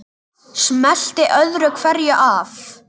Smellti öðru hverju af.